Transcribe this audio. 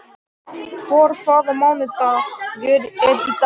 Ævör, hvaða mánaðardagur er í dag?